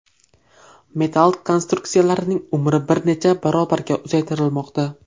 Metall konstruksiyalarning umri bir necha barobarga uzaytirilmoqda.